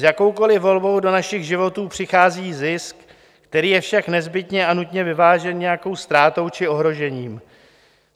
S jakoukoliv volbou do našich životů přichází zisk, který je však nezbytně a nutně vyvážen nějakou ztrátou či ohrožením.